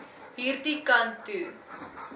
hierdie kant toe